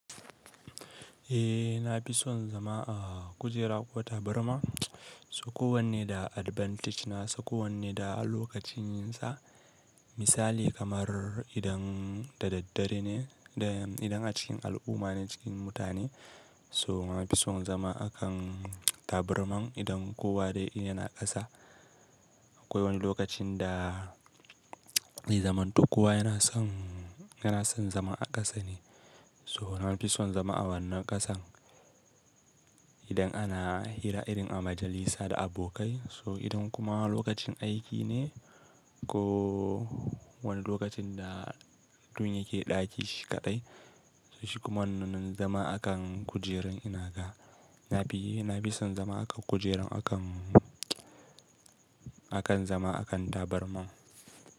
Eh nafi son zama a kujera ko tabarma. To kowanne da advantage na sa, kowanne da lokacin yinsa. Misali kamar idan da daddare ne, idan a cikin al'umma ne cikin mutane. To nafi son zama a kan tabarman idan kowa dai yana ƙasa. Akwai wani lokacin da, zai zamaato kowa yana son, yana son zama a ƙasa ne. So na fi son zama a wannan ƙasan idan ana hira irin a majalisa da abokai. So idan kuma lokacin aiki ne ko wani lokacin da mutum yake ɗaki shi kaɗai, shi kuma wannan zama a kan kujerar ina ga. Nafi, nafi son zama a kan kujeran akan, akan zama a kan tabarma.